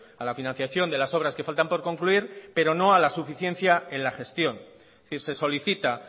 a la financiación de las obras que faltan por concluir pero no a las suficiencia en la gestión es decir se solicita